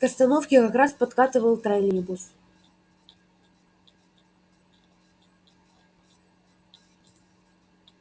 к остановке как раз подкатывал троллейбус